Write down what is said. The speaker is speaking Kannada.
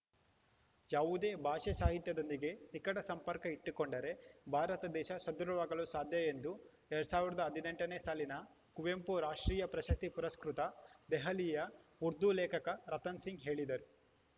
ಯಾವುದೇ ಭಾಷೆ ಸಾಹಿತ್ಯದೊಂದಿಗೆ ನಿಕಟ ಸಂಪರ್ಕ ಇಟ್ಟುಕೊಂಡರೆ ಭಾರತ ದೇಶ ಸದೃಢವಾಗಲು ಸಾಧ್ಯ ಎಂದು ಎರಡ್ ಸಾವಿರದ ಹದಿನೆಂಟನೇ ಸಾಲಿನ ಕುವೆಂಪು ರಾಷ್ಟ್ರೀಯ ಪ್ರಶಸ್ತಿ ಪುರಸ್ಕೃತ ದೆಹಲಿಯ ಉರ್ದು ಲೇಖಕ ರತನ್‌ ಸಿಂಗ್‌ ಹೇಳಿದರು